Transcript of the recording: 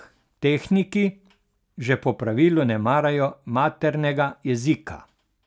Tehniki že po pravilu ne marajo maternega jezika.